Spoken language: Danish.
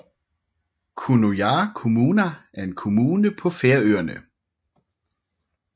Kunoyar kommuna er en kommune på Færøerne